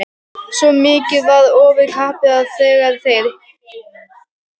Svo mikið var ofurkappið að þegar þeir